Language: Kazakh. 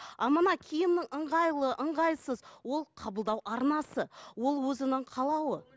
а мына киімі ыңғайлы ыңғайсыз ол қабылдау арнасы ол өзінің қалауы